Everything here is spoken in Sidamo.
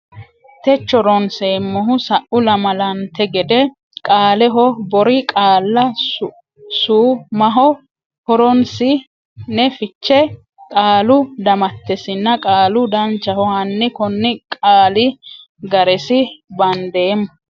techo ronseemmohu sa u lamalante gede qaaleho bori qaalla Su maho horonsi ne fiche qaalu damattesinna qaalu Danchaho hanni konni qooli ga resi bandeemmo.